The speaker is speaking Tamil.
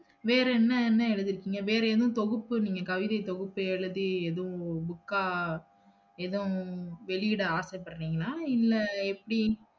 வேறென்ன என்ன எழுதிருகீங்களா? வேறேதும் தொகுப்பு நீங்க கவிதை தொகுப்பு எழுதி ஏதும் book அ ஏதும் வெளியிட ஆசைபடறீங்களா? இல்ல எப்படி?